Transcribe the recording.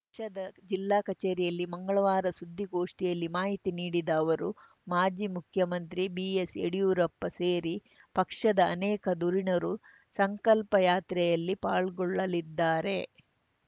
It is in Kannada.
ಪಕ್ಷದ ಜಿಲ್ಲಾ ಕಚೇರಿಯಲ್ಲಿ ಮಂಗಳವಾರ ಸುದ್ದಿಗೋಷ್ಠಿಯಲ್ಲಿ ಮಾಹಿತಿ ನೀಡಿದ ಅವರು ಮಾಜಿ ಮುಖ್ಯಮಂತ್ರಿ ಬಿಎಸ್‌ಯಡಿಯೂರಪ್ಪ ಸೇರಿ ಪಕ್ಷದ ಅನೇಕ ಧುರೀಣರು ಸಂಕಲ್ಪ ಯಾತ್ರೆಯಲ್ಲಿ ಪಾಲ್ಗೊಳ್ಳಲಿದ್ದಾರೆ